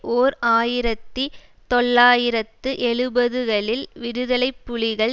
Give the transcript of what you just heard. ஓர் ஆயிரத்தி தொள்ளாயிரத்து எழுபதுகளில் விடுதலைப்புலிகள்